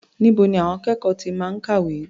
Níbo ni àwọn akẹ́kọ̀ọ́ ti máa ń kàwé?